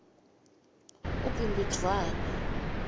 ubhimbidvwane